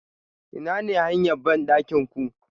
Inane hanya bandakin ku?